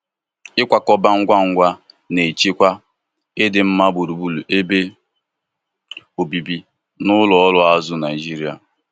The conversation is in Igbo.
ikwakọba Ngwa Ngwa na-echekwa idimma gburugburu ebe obibi na ụlọ ọrụ azụ Naijiria.